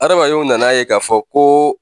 Adamadenw nana ye k'a fɔ ko